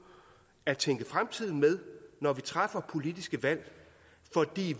at tænke fremtiden med når vi træffer politiske valg